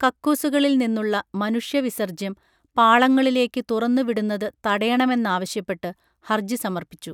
കക്കൂസുകളിൽ നിന്നുള്ള മനുഷ്യ വിസർജ്യം പാളങ്ങളിലേക്കു തുറന്നു വിടുന്നതു തടയണമെന്നാവശ്യപ്പെട്ടു ഹർജി സമർപ്പിച്ചു